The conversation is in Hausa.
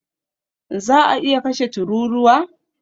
Za a iya kashe tururuwa?